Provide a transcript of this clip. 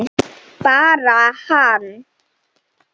Bara hann?